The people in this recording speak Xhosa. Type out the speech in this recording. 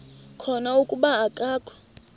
khona kuba akakho